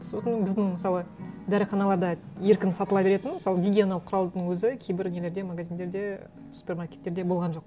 сосын біздің мысалы дәріханаларда еркін сатыла беретін мысалы гигиена құралдың өзі кейбір нелерде магазиндерде супермаркеттерде болған жоқ